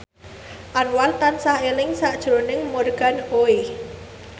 Anwar tansah eling sakjroning Morgan Oey